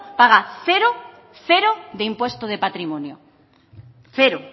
paga cero de impuesto de patrimonio cero